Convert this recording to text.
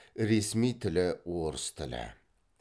ресми тілі орыс тілі